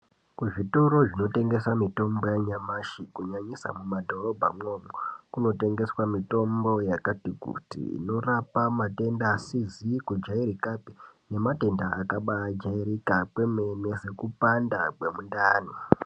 Kuzvitoro zvinotengesa mitombo yanyamashi kunyanyisa mumadhobhamwo kunotengeswa mitombo yakati kuti inorape matenda asizikujairikapi nematenda akabairika kwemene sekupanda kwemundani.